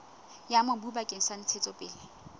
ya mobu bakeng sa ntshetsopele